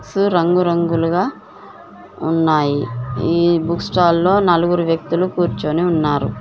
క్సు రంగురంగులుగా ఉన్నాయి ఈ బుక్ స్టాల్ లో నలుగురు వ్యక్తులు కూర్చొని ఉన్నారు.